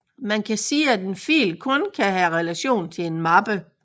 Man kan sige at en fil kun kan have relation til en mappe